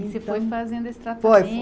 E você foi fazendo esse